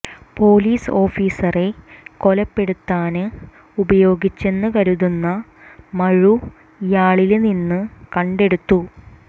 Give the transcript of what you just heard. police ഓഫീസറെ കൊലപ്പെടുത്താന് ഉപയോഗിച്ചെന്ന് കരുതുന്ന മഴു ഇയാളില് നിന്ന് കണ്ടെടുത്തു